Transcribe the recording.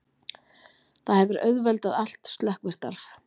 Það hefur auðveldað allt slökkvistarf